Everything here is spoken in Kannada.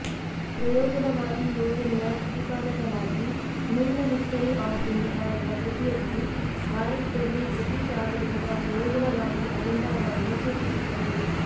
ಪ್ರಯೋಜನವಾದಿ ಯೋಜನೆಯ ಪ್ರತಿಪಾದಕನಾಗಿ ಮಿಲ್ನ ಹಿಸ್ಟರಿ ಆಫ್ ಇಂಡಿಯಾ ಎಂಬ ಕೃತಿಯಲ್ಲಿ ಭಾರತದಲ್ಲಿ ಬ್ರಿಟಿಷ್ ಆಡಳಿತದ ಪ್ರಯೋಜನವಾದಿ ಅಜೆಂಡಾಗಳನ್ನು ಸೂಚಿಸುತ್ತದೆ